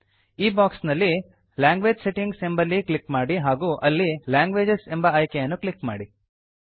ಈ ಬಾಕ್ಸ್ ನಲ್ಲಿ language settings ಎಂಬಲ್ಲಿ ಕ್ಲಿಕ್ ಮಾಡಿ ಹಾಗೂ ಅಲ್ಲಿ ಲ್ಯಾಂಗ್ವೇಜಸ್ ಎಂಬ ಆಯ್ಕೆಯನ್ನು ಕ್ಲಿಕ್ ಮಾಡಿ